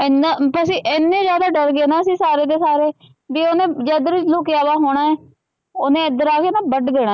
ਏਨਾ ਬਸ ਅਸੀਂ ਇਨੇ ਜਿਆਦਾ ਡਰ ਗਏ ਨਾ ਸਾਰੇ ਦੇ ਸਾਰੇ ਵੀ ਨਾ ਏਧੇਰ ਹੀ ਲੁਕਿਆ ਹੂਆ ਹੋਣਾ ਏ ਓਹਨੇ ਏਧੇਰ ਆਕੇ ਨਾ ਵਡ ਦੇਣਾ।